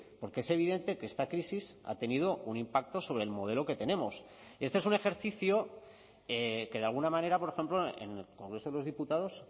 porque es evidente que esta crisis ha tenido un impacto sobre el modelo que tenemos este es un ejercicio que de alguna manera por ejemplo en el congreso de los diputados